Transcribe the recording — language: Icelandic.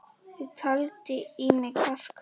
Ég taldi í mig kjark.